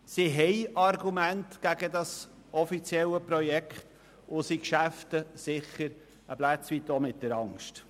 Sie haben Argumente gegen das offizielle Projekt und arbeiten sicher auch ein Stück weit mit der Angst.